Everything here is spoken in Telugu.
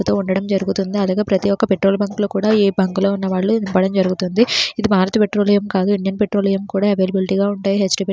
నింపుతూ ఉండడం జరుగుతుంది అలాగే ప్రతి ఒక పెట్రోల్ బంక్ లో కూడా ఏ బంక్ ఉన్న వాళ్ళు నింపడం జరుగుతుంది ఇది భారతి పెట్రోలియం కాదు ఇండియన్ పెట్రోలియం కూడా అవైలబిలిటీ గా ఉంటాయి. --